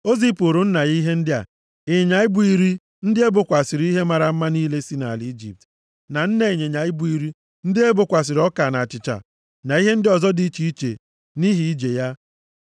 O zipụụrụ nna ya ihe ndị a: ịnyịnya ibu iri ndị e bokwasịrị ihe mara mma niile si nʼala Ijipt, na nne ịnyịnya ibu iri ndị e bokwasịrị ọka na achịcha, na ihe ndị ọzọ dị iche iche, nʼihi ije ya.